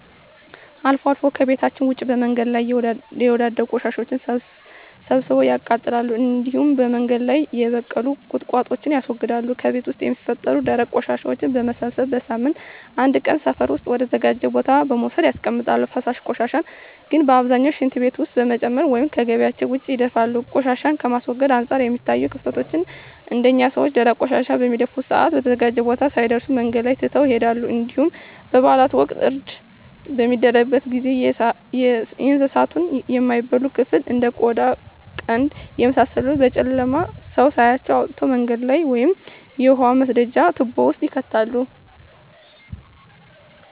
አልፎ አልፎ ከቤታቸዉ ውጭ በመንገድ ላይ የወዳደቁ ቆሻሻወችን ሰብስበው ያቃጥላሉ እንዲሁም በመንገድ ላይ የበቀሉ ቁጥቋጦወችን ያስወግዳሉ። ከቤት ውስጥ የሚፈጠሩ ደረቅ ቆሻሻወችን በመሰብሰብ በሳምንት አንድ ቀን ሰፈር ውስጥ ወደ ተዘጋጀ ቦታ በመውሰድ ያስቀምጣሉ። ፈሳሽ ቆሻሻን ግን በአብዛኛው ሽንት ቤት ውስጥ በመጨመር ወይም ከጊቢያቸው ውጭ ይደፋሉ። ቆሻሻን ከማስወገድ አንፃር የሚታዩት ክፍተቶች አንደኛ ሰወች ደረቅ ቆሻሻን በሚደፉበት ሰአት በተዘጋጀው ቦታ ሳይደርሱ መንገድ ላይ ትተው ይሄዳሉ እንዲሁም በበአላት ወቅት እርድ በሚደረግበት ጊዜ የእንሳቱን የማይበላ ክፍል እንደ ቆዳ ቀንድ የመሳሰሉትን በጨለማ ሰው ሳያያቸው አውጥተው መንገድ ላይ ወይም የውሃ መስደጃ ትቦወች ውስጥ ይከታሉ።